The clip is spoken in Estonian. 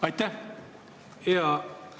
Aitäh!